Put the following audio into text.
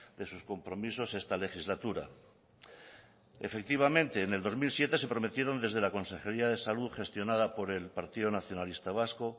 de sus compromisos esta legislatura efectivamente en el dos mil siete se prometieron desde la consejería de salud gestionada por el partido nacionalista vasco